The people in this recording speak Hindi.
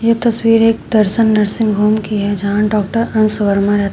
तस्वीर एक दर्शन नर्सिंग होम की है यहां डॉक्टर अंश वर्मा--